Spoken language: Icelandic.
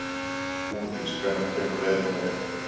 Húndís, hvenær kemur leið númer eitt?